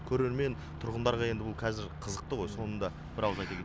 көрермен тұрғындарға енді бұл кәзір қызықты ғой соны да бір ауыз айта кет